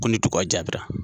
Kuli tuka jatira.